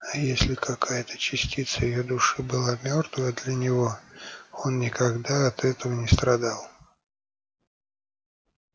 а если какая-то частица её души была мёртвая для него он никогда от этого не страдал